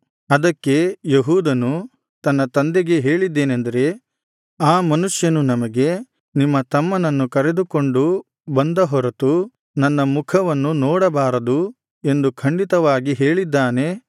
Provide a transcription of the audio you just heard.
ಅದಕ್ಕೆ ಯೆಹೂದನು ತನ್ನ ತಂದೆಗೆ ಹೇಳಿದ್ದೇನಂದರೆ ಆ ಮನುಷ್ಯನು ನಮಗೆ ನಿಮ್ಮ ತಮ್ಮನನ್ನು ಕರೆದುಕೊಂಡು ಬಂದ ಹೊರತು ನನ್ನ ಮುಖವನ್ನು ನೋಡಬಾರದು ಎಂದು ಖಂಡಿತವಾಗಿ ಹೇಳಿದ್ದಾನೆ